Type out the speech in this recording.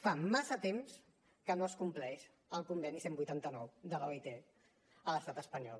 fa massa temps que no es compleix el conveni cent i vuitanta nou de l’oit a l’estat espanyol